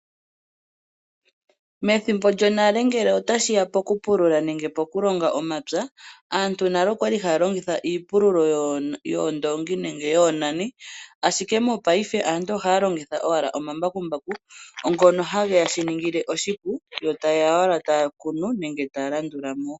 Methimbo lyonale ngele otashi ya poku pulula nenge poku longa omapya, aantu nale okwali haa longitha iipululo yoondongi nenge yoonani. Ashike mopaife aantu oha longitha owala omambakumbaku. Ngono hage ya shiningile oshipo yo taye ya owala ya kune eta landula mo.